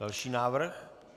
Další návrh.